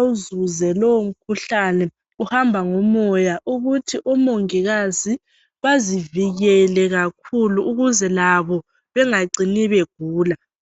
azizwe lowo mkhuhlane uhamba ngomoya ukuthi umongikazi bazivikele kakhulu ukuze labo bengacine begula.